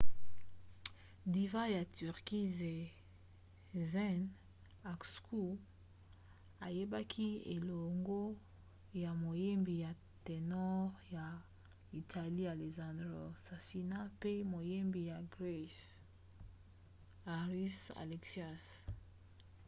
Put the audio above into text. diva ya turquie sezen aksu ayembaki eleongo na moyembi ya ténor ya italie alessandro safina mpe moyembi ya grese haris alexiou